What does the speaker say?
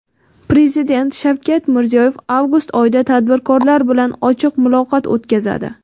prezident Shavkat Mirziyoyev avgust oyida tadbirkorlar bilan ochiq muloqot o‘tkazadi.